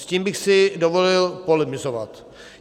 S tím bych si dovolil polemizovat.